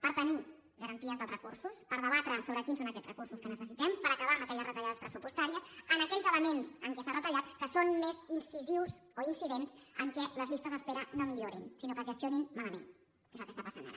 per tenir garanties dels recursos per debatre sobre quins són aquests recursos que necessitem per acabar amb aquelles retallades pressupostàries en aquells elements en què s’ha retallat que són més incisius o incidents en el fet que les llistes d’espera no millorin sinó que es gestionin malament que és el que està passant ara